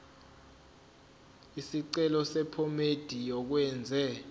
isicelo sephomedi yokwenze